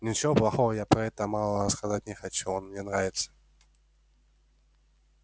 ничего плохого я про этого малого сказать не хочу он мне нравится